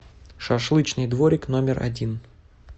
шашлычный дворик номер один